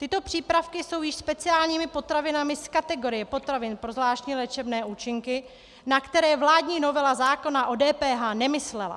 Tyto přípravky jsou již speciálními potravinami z kategorie potravin pro zvláštní léčebné účinky, na které vládní novela zákona o DPH nemyslela.